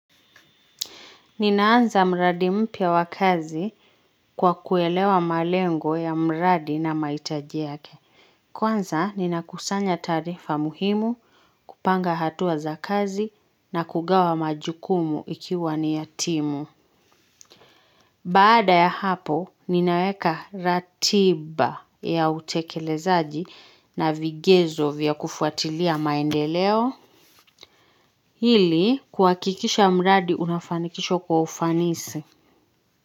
Ninaanza mradi mpya wa kazi kwa kuelewa malengo ya mradi na mahitaji yake. Kwanza, ninakusanya taarifa muhimu, kupanga hatua za kazi na kugawa majukumu ikiwa ni ya timu. Baada ya hapo, ninaweka ratiba ya utekelezaji na vigezo vya kufuatilia maendeleo. Ili, kuhakikisha mradi unafanikishwa kwa ufanisi.